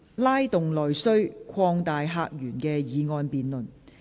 "拉動內需擴大客源"的議案辯論。